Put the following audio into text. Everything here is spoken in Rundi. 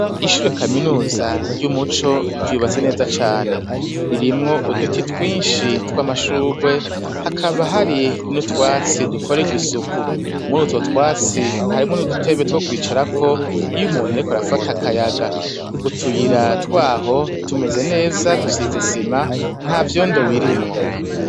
Ishure kaminuza ry'umuco ryubatse neza cane, ririmwo uduti twinshi tw'amashurwe, hakaba hari n'utwatsi dukorerwa isuku, muri utwo twatsi harimwo n'udutebe two kwicarako iyo umuntu, ariko arafata akayaga utuyira twaho tumeze neza dusizisima ntavyondobirimwo.